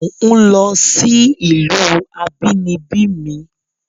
Mò ń lọ sí ìlú abínibí mi